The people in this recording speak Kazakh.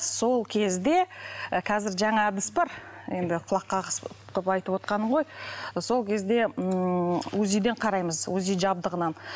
сол кезде ы қазір жаңа әдіс бар енді құлақ қағыс қылып айтып отырғаным ғой сол кезде ммм узи ден қараймыз узи жабдығынан